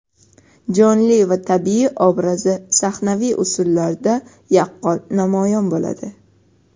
jonli va tabiiy obrazi sahnaviy usullarda yaqqol namoyon bo‘ladi.